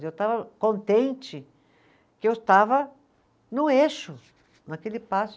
Eu estava contente que eu estava no eixo, naquele passo.